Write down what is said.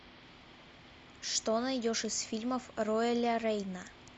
что найдешь из фильмов роэля рейна